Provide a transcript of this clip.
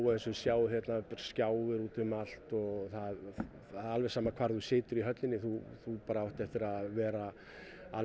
eins og þið sjáið hérna það eru skjáir út um allt og það er alveg sama hvar þú sitja í höllinni þú þú átt eftir að vera